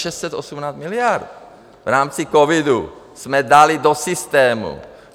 Je to 618 miliard - v rámci covidu jsme dali do systému.